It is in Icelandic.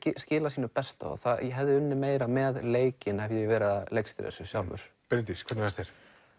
skila sínu besta og ég hefði unnið meira með leikinn hefði ég verið að leikstýra þessu sjálfur Bryndís hvernig fannst þér